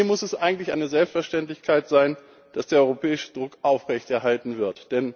Hier muss es eigentlich eine Selbstverständlichkeit sein, dass der europäische Druck aufrechterhalten wird.